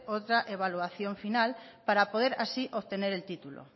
otra evaluación final para poder así obtener el título